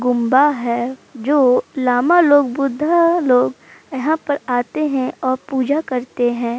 गुंबा है जो लांबा लोग बुड्ढा लोग यहाँ पर आते हैं और पूजा करते है।